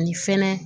Ani fɛnɛ